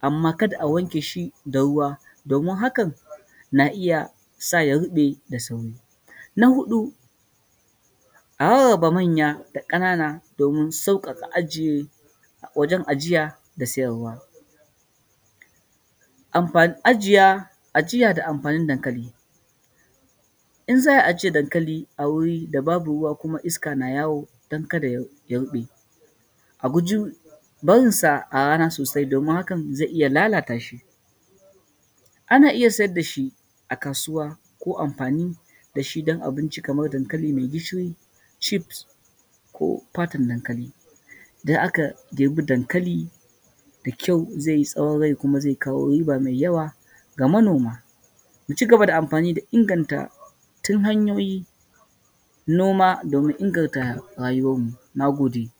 amma kada a wanke shi da ruwa domin hakan na iya say a ruɓe da sauri, na huɗu a rarraba manya da kanana domin sauƙaƙa ajiye wajen ajiya da siyarwa, ajiya da amfanin dankali in za a ajiye dankali a wuri da babu ruwa kuma iska na yawo dan kada ya ruɓe, a guji barinsa a rana sosai domin hakan zai iya lalata shi, ana iya siyar da shi a kasuwa ko amfani da shi dan abinci kamar dankali mai gishiri cheefs ko fatan dankali, idan aka ɗebi dankali da kyau zai yi tsawan rai kuma zai kawo riba mai yawa ga manoma, mu cigaba da amfani da inganta hanyoyin noma domin inganta rayuwan mu, na gode.